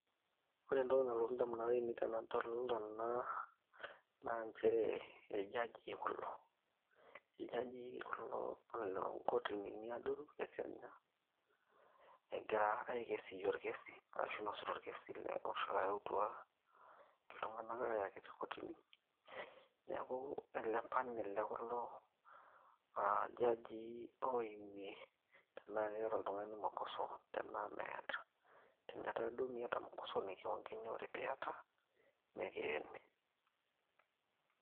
ore entoki nalotu indamunot ainei tenadol ena naa nchere iljajii kulo iljajii kulo loonkotinini adoru e kenya egira aikesiyie orkesi arashu inosita orkesi oyautua iltung'anak aayaki te kotini neeku ele panel le kulo aa jajii oimie tenaa keeta oltung'anii mukoso tenaa meeta tenetaa duo miata mukoso niking'uikini ore piiyata nekiyeni.